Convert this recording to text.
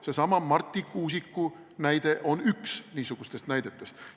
Seesama Marti Kuusiku näide on üks niisugustest näidetest.